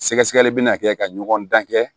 Sɛgɛsɛgɛli bɛ na kɛ ka ɲɔgɔn dan kɛ